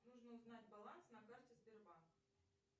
нужно узнать баланс на карте сбербанк